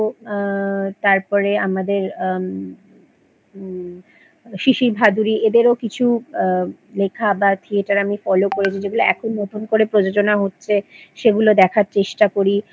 আ তারপরে আমাদের আম শিশির ভাদুড়ী এদেরও কিছু লেখা বা থিয়েটার আমি Follow করেছি যেগুলো এখন নতুন করে প্রযোজনা হচ্ছে সেগুলো দেখার চেষ্টা করি